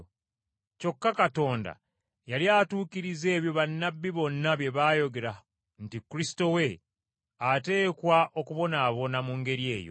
Kyokka Katonda yali atuukiriza ebyo bannabbi bonna bye baayogera nti Kristo we ateekwa okubonaabona mu ngeri eyo.